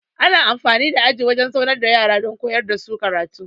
Ana amfani da aji wajan zaunar da yara don koyar dasu karatu